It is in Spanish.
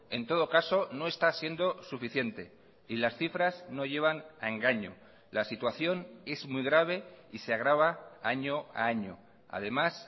en todo caso no está siendo suficiente y las cifras no llevan a engaño la situación es muy grave y se agrava año a año además